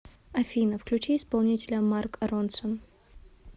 афина включи исполнителя марк ронсон